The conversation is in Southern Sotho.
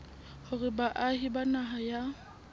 hore baahi ba naha ya